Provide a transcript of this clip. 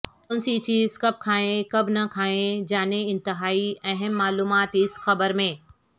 کونسی چیز کب کھائیں کب نہ کھائیں جانیں انتہائی اہم معلومات اس خبرمیں